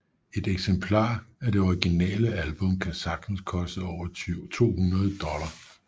Et eksemplar af det originale album kan sagtens koste over 200 dollars